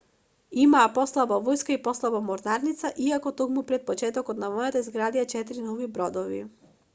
имаа послаба војска и послаба морнарица иако токму пред почетокот на војната изградија 4 нови бродови